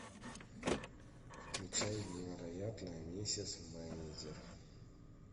включай невероятная миссис мейзел